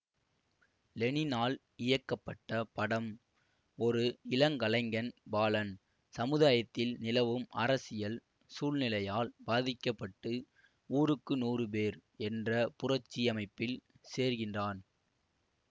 லெனினால் இயக்கப்பட்ட படம் ஒரு இளங்கலைஞன் பாலன் சமுதாயத்தில் நிலவும் அரசியல் சூழ்நிலையால் பாதிக்க பட்டு ஊருக்கு நூறு பேர் என்ற புரட்சி அமைப்பில் சேர்கின்றான்